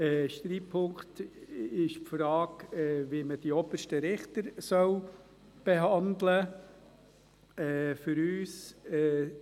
Ein Streitpunkt ist die Frage, wie man die obersten Richter behandeln soll.